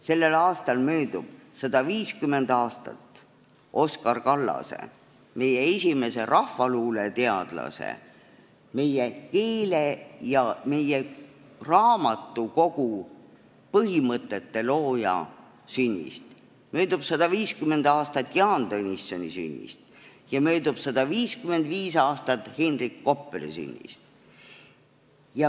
Sellel aastal möödub 150 aastat Oskar Kallase, meie esimese rahvaluuleteadlase, meie keele- ja raamatukogupõhimõtete looja sünnist, möödub 150 aastat Jaan Tõnissoni sünnist ja 155 aastat Henrik Koppeli sünnist.